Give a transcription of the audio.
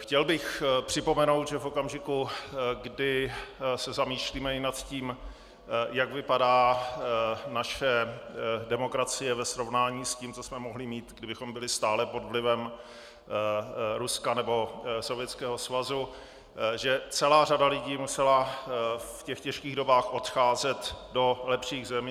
Chtěl bych připomenout, že v okamžiku, kdy se zamýšlíme i nad tím, jak vypadá naše demokracie ve srovnání s tím, co jsme mohli mít, kdybychom byli stále pod vlivem Ruska nebo Sovětského svazu, že celá řada lidí musela v těch těžkých dobách odcházet do lepších zemí.